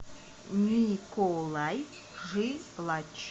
николай жилач